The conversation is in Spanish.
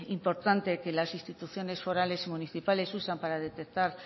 importante que las instituciones forales y municipales usan para detectar